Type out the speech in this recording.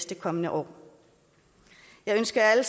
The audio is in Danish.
de kommende år jeg ønsker alle